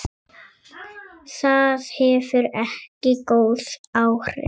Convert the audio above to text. Það hefur ekki góð áhrif.